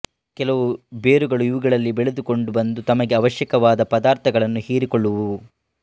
ಕೆಲವು ಬೇರುಗಳು ಇವುಗಳಲ್ಲಿ ಬೆಳೆದುಕೊಂಡು ಬಂದು ತಮಗೆ ಆವಶ್ಯಕವಾದ ಪದಾರ್ಥಗಳನ್ನು ಹೀರಿಕೊಳ್ಳುವುವು